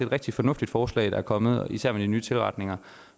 rigtig fornuftigt forslag der er kommet især med de nye tilretninger